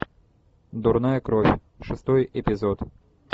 дурная кровь шестой эпизод